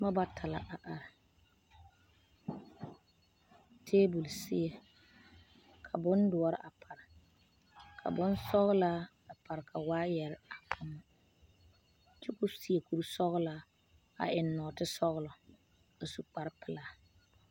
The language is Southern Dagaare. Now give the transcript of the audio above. Noba bata la a are taabɔl seɛ ka bondoɔre a pare ka bonsɔgelaa a pare ka waayɛrɛ a biŋ kyɛ ka o seɛ kuri sɔgelaa a eŋ nɔɔte sɔgelɔ a su kpar pelaa